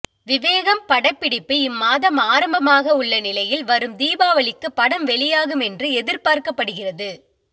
விவேகம் படப்பிடிப்பு இம்மாதம் ஆரம்பமாகவுள்ள நிலையில் வரும் தீபாவளிக்கு படம் வெளியாகும் என்று எதிர்பார்க்கப்படுகிறது